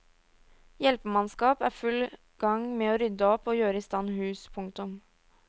Hjelpemannskap er full gang med å rydde opp og gjøre i stand hus. punktum